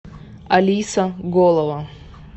алиса голова